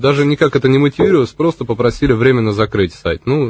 даже никак это не мотивировалось просто попросили временно закрыть сайт ну